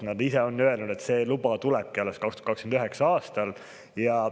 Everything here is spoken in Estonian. Nad ise on öelnud, et see luba tulebki alles 2029. aastal.